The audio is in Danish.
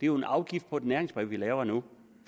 jo en afgift på et næringsbrev vi laver nu